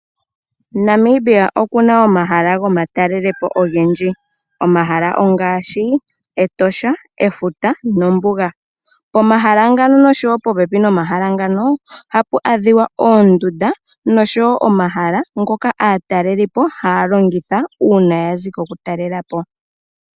Namibia oku na omahala gomatalelepo ogendji, omahala ongaashi, Etosha, Efuta nosho tuu Ombuga. Pomahala ngano nosho tuu popepi nomahala ngano, ohapu adhika oondunda ndhoka aatelelipo ha ya longitha uuna yazi ko ku talelapo.